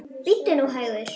Bíddu nú hægur.